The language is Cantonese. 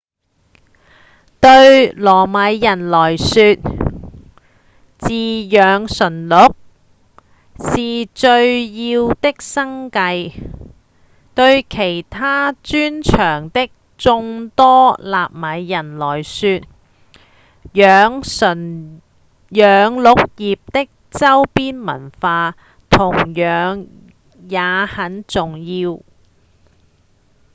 對薩米人來說飼養馴鹿是重要的生計對其他專長的眾多薩米人來說養鹿業的週邊文化同樣也很重要